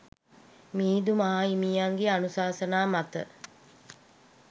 මිහිඳු මාහිමියන්ගේ අනුශාසනා මත